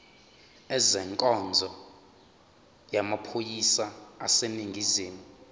ezenkonzo yamaphoyisa aseningizimu